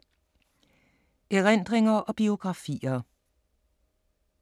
Erindringer og biografier